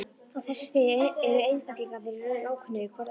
Á þessu stigi eru einstaklingarnir í raun ókunnugir hvor öðrum.